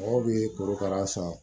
Mɔgɔw bɛ korokara san